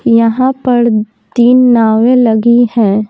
यहां पर तीन नावें लगी हैं।